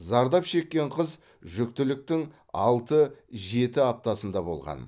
зардап шеккен қыз жүктіліктің алты жеті аптасында болған